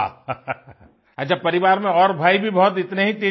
वाह अच्छा परिवार में और भाई भी बहुत इतने ही